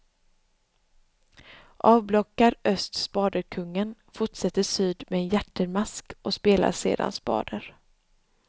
Avblockar öst spaderkungen fortsätter syd med en hjärtermask och spelar sedan spader.